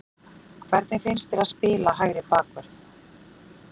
Hvernig finnst þér að spila hægri bakvörð?